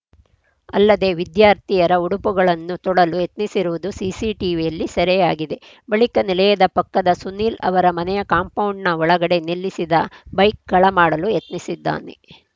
ಅಲ್ಲದೇ ವಿದ್ಯಾರ್ಥಿಯರ ಉಡುಪುಗಳನ್ನು ತೊಡಲು ಯತ್ನಿಸಿರುವುದು ಸಿಸಿಟಿವಿಯಲ್ಲಿ ಸೆರೆಯಾಗಿದೆ ಬಳಿಕ ನಿಲಯದ ಪಕ್ಕದ ಸುನೀಲ್‌ ಅವರ ಮನೆಯ ಕಾಂಪೌಂಡ್‌ನ ಒಳಗಡೆ ನಿಲ್ಲಿಸಿದ ಬೈಕ್‌ ಕಳ ಮಾಡಲು ಯತ್ನಿಸಿದ್ದಾನೆ